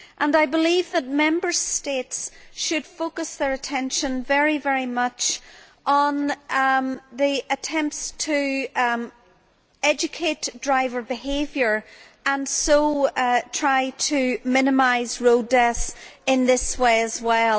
I believe that Member States should focus their attention very much on the attempts to educate driver behaviour and so try to minimise road deaths in this way as well.